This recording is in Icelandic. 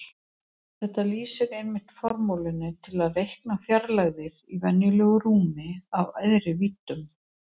Þetta lýsir einmitt formúlunni til að reikna fjarlægðir í venjulegu rúmi af æðri víddum.